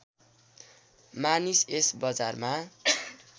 मानिस यस बजारमा